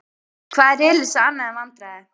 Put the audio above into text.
Hvað er Elísa annað en vandræði?